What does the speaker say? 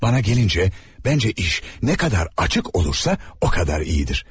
Mənə gəlincə, məncə iş nə qədər açıq olursa, o qədər yaxşıdır.